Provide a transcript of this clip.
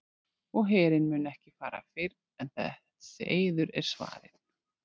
Og herinn mun ekki fara fyrr en þessi eiður er svarinn.